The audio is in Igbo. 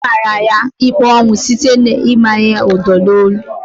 A mara ya ikpe ọnwụ site n'ịmanye ya Udo na onu